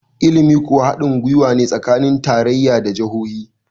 ilimi kuwa hadin gwiwa ne tsakanin tarayya da jahohi